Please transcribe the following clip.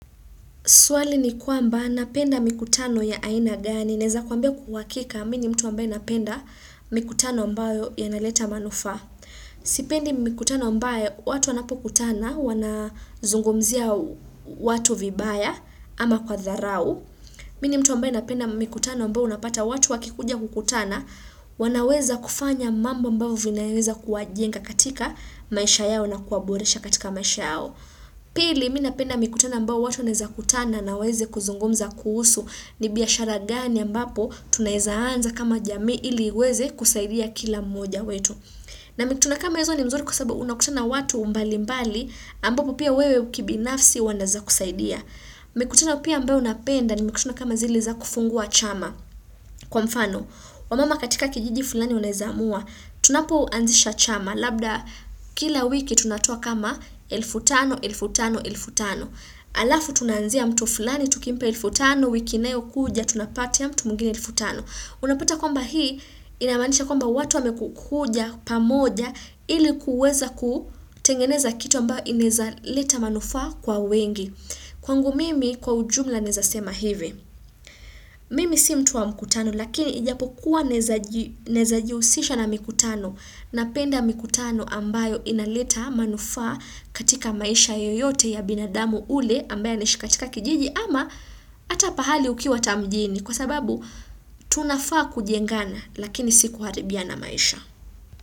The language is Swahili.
Swali ni kwamba napenda mikutano ya aina gani. Naweza kuambia kwa uhakika mimi ni mtu ambaye napenda mikutano ambayo yanaleta manufaa. Sipendi mikutano ambayo watu wanapokutana wanazungumzia watu vibaya ama kwa dharau. Mimi ni mtu ambaye napenda mikutano ambayo unapata watu wakikuja kukutana wanaweza kufanya mambo ambazo zinaweza kuwajienga katika maisha yao na kuwaboresha katika maisha yao. Pili mimi napenda mikutano ambayo watu wanaweza kutana na waweze kuzungumza kuhusu ni biashara gani ambapo tunaweza anza kama jamii ili uweze kusaidia kila mmoja wetu. Na mikutano kama hizo ni mzuri kwa sababu unakutana watu mbali mbali ambao pia wewe kibinafsi wanaeza kukusaidia. Mikutano pia ambao napenda ni mikutano kama zile za kufungua chama. Kwa mfano, wamama katika kijiji fulani wanawezamua, tunapo anzisha chama, labda kila wiki tunatoa kama elfu tano, elfu tano, elfu tano. Alafu tunaanzia mtu fulani, tukimpa elfu tano, wiki inayo kuja, tunapatia mtu mwengine elfu tano. Unapata kwamba hii, inamaanisha kwamba watu wameku kuja pamoja, ili kuweza kutengeneza kitu ambao inaweza leta manufaa kwa wengi. Kwangu mimi kwa ujumla naweza sema hivi, mimi si mtu wa mkutano lakini ijapokuwa naweza ji nawezajihusisha na mkutano napenda mkutano ambayo inaleta manufaa katika maisha yoyote ya binadamu ule ambaye anaishi katika kijiji ama hata pahali ukiwa hata mjini kwa sababu tunafaa kujengana lakini si kuharibiana maisha.